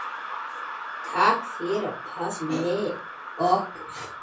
Takk fyrir að passa okkur.